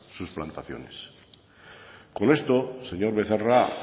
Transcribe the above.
sus plantaciones con esto señor becerra